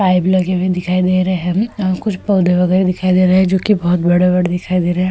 Pipe लगे हुए दिखाई दे रहे हैं। कुछ पौधे वगैरह दिखाई दे रहे हैं जोकि बहोत बड़े-बड़े दिखाई दे रहे हैं।